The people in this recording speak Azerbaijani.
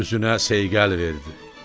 Üzünə seyqəl verdi.